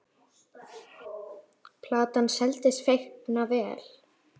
Platan seldist feikna vel.